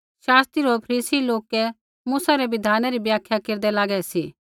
शास्त्री होर फरीसी लोका मूसै रै बिधानै री व्याख्या केरदै लागै सी